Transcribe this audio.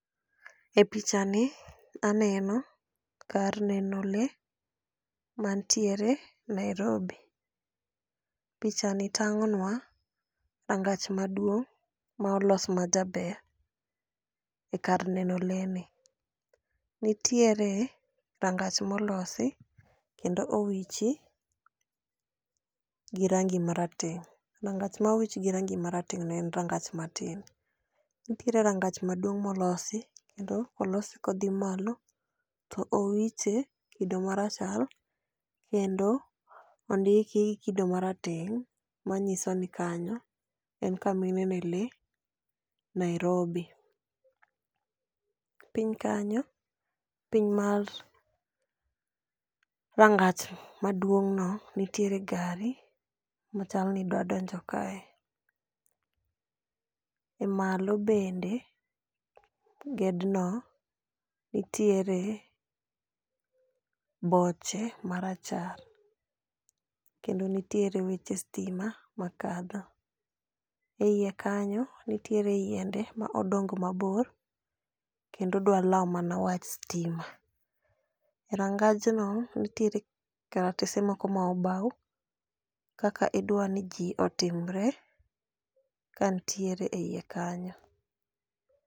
E pichani aneno kar neno lee manitiere Nairobi. Pichani tang'onwa rangach maduong' ma olos majaber e kar neno lee ni. Nitiere rangach molosi kendo owichi gi rangi marateng',rangach ma owich gi rangi marateng'no en rangach matin. Nitiere rangach maduong' molosi kendo olose kodhi malo, to owiche kido marachar kendo ondiki kido marateng' manyiso ni kanyo en kama inene lee Nairobi. Piny kanyo, piny mar rangach maduong'no, nitiere gari machal ni dwa donjo kae,e malo bende gedno nitiere boche marachar kendo nitiere weche stima makadho. E iye kanyo, nitiere yiende ma odongo mabor kendo dwa lawo mana wach stima. Rangajno nitiere karatese moko ma obaw kaka idwa ni ji otimre ka nitiere e iye kanyo.